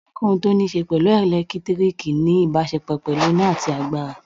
Ohunkóhun tó níṣe pẹ̀lú ẹ̀lẹ́tíríkì ní ìbáṣepọ̀ pẹ̀lú iná tàbí agbára.